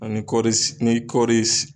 Ani kɔɔri ni kɔɔri